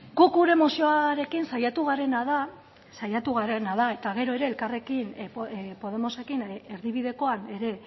guk gure mozioarekin saiatu garena da saiatu garena da eta gero ere elkarrekin podemosekin erdibidekoan ere